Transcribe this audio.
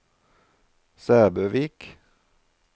Sæbøvik